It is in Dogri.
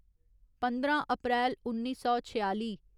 पंदरां अप्रैल उन्नी सौ छेआली